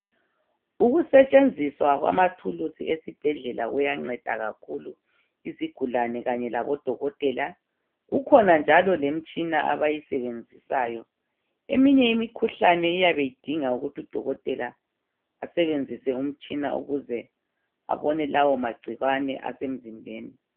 Ukusetshenziswa kwamathulusi esibhedlela kuyanceda kakhulu izigulane kanye labodokotela. Kukhona njalo lemitshina abayisebenzisayo. Eminye imikhuhlane iyabe idinga ukuthi udokotela asebenzise umtshina ukuze abone lawo magcikwane asemzimbeni.